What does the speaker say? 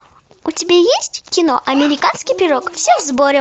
у тебя есть кино американский пирог все в сборе